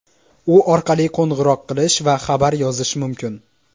U orqali qo‘ng‘iroq qilish va xabar yozish mumkin.